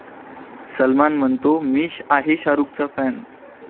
सलमान म्हणतो, 'मी आहे शाहरूखचा 'फॅन''